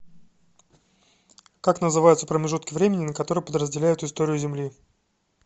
как называются промежутки времени на которые подразделяют историю земли